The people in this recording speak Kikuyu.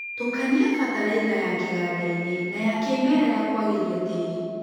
Tukania bataraitha ya kĩgandainĩ na ya kĩmerera kwagĩria tĩri.